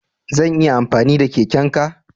Zan iya amfani da keken ka?